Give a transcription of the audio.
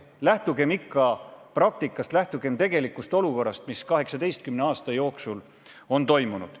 Lähtugem ikka praktikast, lähtugem tegelikust olukorrast, sellest, mis 18 aasta jooksul on toimunud.